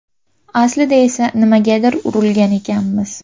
Aslida esa nimagadir urilgan ekanmiz.